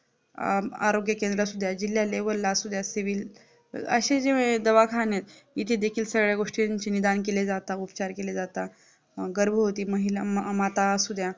आरोग्य केंद्र असुद्या जिल्हा Level असुद्या Civil अशे देखील दवाखाने इथे देखील सगळ्या गोष्टींची निदान केले जाता उपचार केले जाता गर्भवती महिला माता असुद्या